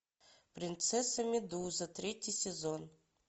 принцесса медуза третий сезон